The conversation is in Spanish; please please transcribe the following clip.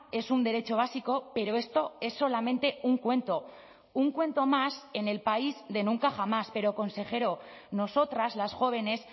es un derecho básico pero esto es solamente un cuento un cuento más en el país de nunca jamás pero consejero nosotras las jóvenes